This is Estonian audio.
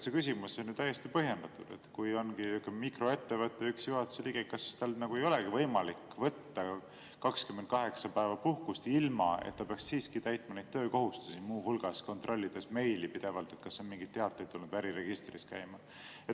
See küsimus on ju täiesti põhjendatud, et kui ongi mikroettevõttel üks juhatuse liige, kas tal ei olegi võimalik võtta 28 päeva puhkust, ilma et ta peaks siiski täitma neid töökohustusi, muu hulgas kontrollima pidevalt meili, et kas on mingeid teateid, ja äriregistris käima.